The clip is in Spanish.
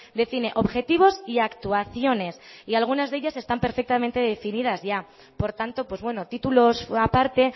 define objetivos y actuaciones y algunas de ellas están perfectamente definidas ya por tanto pues bueno títulos aparte